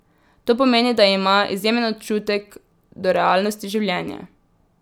To pomeni, da ima izjemen občutek do realnosti življenja.